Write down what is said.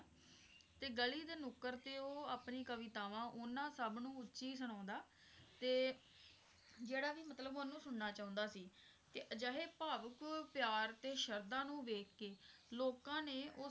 ਤੇ ਗਲੀ ਦੇ ਨੁੱਕਰ ਤੇ ਉਹ ਆਪਣੀ ਕਵਿਤਾਵਾਂ ਉਹਨਾਂ ਸਭ ਨੂੰ ਉੱਚੀ ਸੁਣਾਉਂਦਾ ਤੇ ਜਿਹੜਾ ਵੀ ਮਤਲਬ ਉਹਨੂੰ ਸੁਣਨਾ ਚਾਹੁੰਦਾ ਸੀ ਅਹ ਅਜਿਹੇ ਭਾਵੁਕ ਪਿਆਰ ਦੇ ਸ਼ਬਦਾਂ ਨੂੰ ਵੇਖਕੇ ਲੋਕਾਂ ਨੇ,